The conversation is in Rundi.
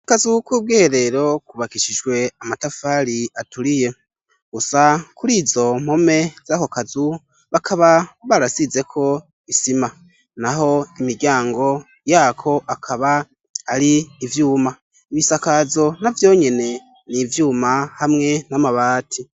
Akazu k'ubwiherero kubakishijwe amatafari aturiye gusa kuri izo mpome z'ako kazu bakaba barasizeko isima. Naho imiryango yako akaba ari ivyuma. Ibisakazo na vyo nyene n'ivyuma hamwe n'amabati.